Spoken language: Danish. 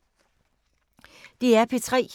DR P3